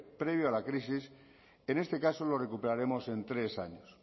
previo a la crisis en este caso lo recuperaremos en tres años